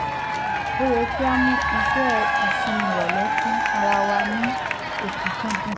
ó yẹ kí a mú ìṣe ìsinmi ìrọ̀lẹ́ fún ara wa ní ọ̀kúnkúndùn